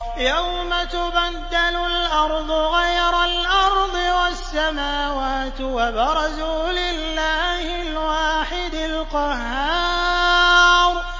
يَوْمَ تُبَدَّلُ الْأَرْضُ غَيْرَ الْأَرْضِ وَالسَّمَاوَاتُ ۖ وَبَرَزُوا لِلَّهِ الْوَاحِدِ الْقَهَّارِ